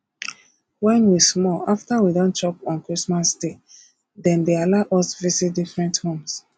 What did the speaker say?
when we small after we don chop on christmas day dem dey allow us visit different homes